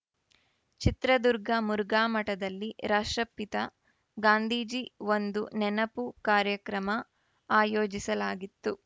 ಚಿತ್ರದುರ್ಗ ಮುರುಘಾಮಠದಲ್ಲಿ ರಾಷ್ಟ್ರಪಿತ ಗಾಂಧೀಜಿ ಒಂದು ನೆನಪು ಕಾರ್ಯಕ್ರಮ ಆಯೋಜಿಸಲಾಗಿತ್ತು